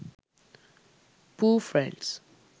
pooh friends